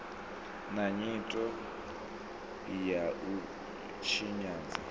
na nyito ya u tshinyadza